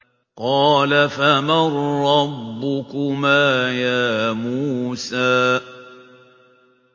قَالَ فَمَن رَّبُّكُمَا يَا مُوسَىٰ